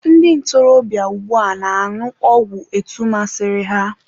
ndị ntorobịa ugbua na-añụ ọgwụ etu masịrị ha